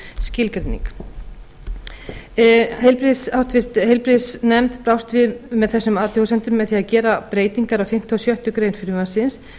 skilgreining háttvirtur heilbrigðisnefnd brást við þessum athugasemdum með því að gera breytingar á fimmta og sjöttu greinar frumvarpsins